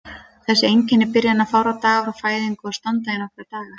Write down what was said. Þessi einkenni byrja innan fárra daga frá fæðingu og standa í nokkra daga.